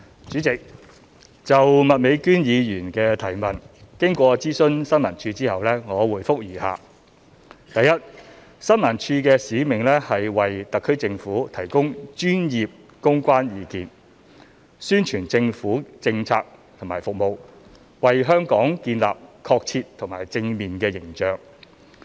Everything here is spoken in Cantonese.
主席，就麥美娟議員的質詢，經諮詢政府新聞處後，我現答覆如下：一新聞處的使命是為香港特別行政區政府提供專業公關意見，宣傳政府政策和服務，為香港建立確切及正面的形象。